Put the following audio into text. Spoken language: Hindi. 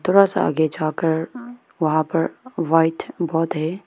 थोड़ा सा आगे जा कर वहां पर व्हाईट बोर्ड है।